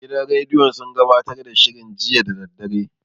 Gidan rediyon sun gabatar da shirin jiya da daddare.